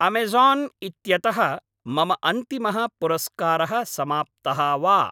Amazon इत्यतः मम अन्तिमः पुरस्कारः समाप्तः वा?